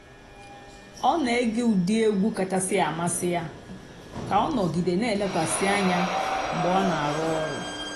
ọ́ nà-ège ụ́dị́ ègwú kàchàsị́ àmásị́ yá kà ọ́ nọ̀gídé nà-èlékwasị́ ànyá mg̀bé ọ́ nà-àrụ́ ọ̀rụ́.